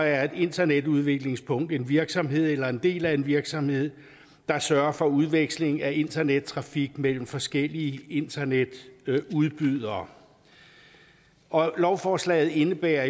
er et internetudvekslingspunkt en virksomhed eller en del af en virksomhed der sørger for udveksling af internettrafik mellem forskellige internetudbydere lovforslaget indebærer